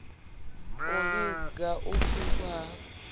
u vhiga u pfukhwa ha